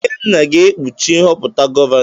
Ikenna ga-ekpuchi nhọpụta gọvanọ.